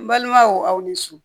N balimaw aw ni su